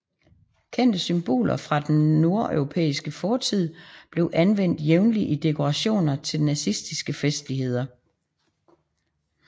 Kendte symboler fra den nordeuropæiske fortid blev anvendt jævnligt i dekorationer til nazistiske festligholdelser